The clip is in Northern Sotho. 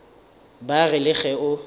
ba re le ge o